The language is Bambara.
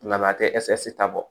Nga a tɛ ɛsta bɔ